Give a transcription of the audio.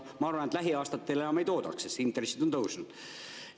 Ma arvan, et lähiaastatel enam ei toodaks, sest intressid on tõusnud.